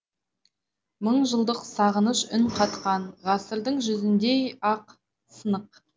мың жылдық сағыныш үн қатқан ғасырдың жүзіндей ақ сынық